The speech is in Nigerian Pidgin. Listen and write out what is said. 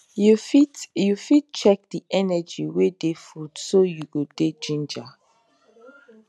you fit you fit check the energy wey dey food so you go dey ginger